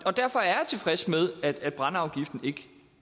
og derfor er jeg tilfreds med at brændeafgiften ikke